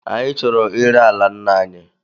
Anyị chọrọ ire ala nna anyi